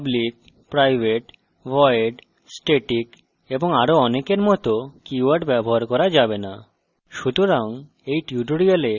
উদাহরণস্বরূপ: public private void static এবং আরো অনেকের মত keywords ব্যবহার করা যাবে না